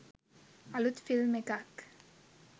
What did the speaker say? අලුත් ෆිල්ම් එකක්